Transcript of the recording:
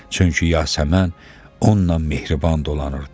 Çünki Yasəmən onunla mehriban dolanırdı.